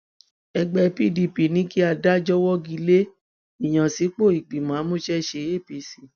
ẹgbẹ pdp ní kí adájọ wọgi lé ìyànsípò ìgbìmọ amúṣẹṣe apc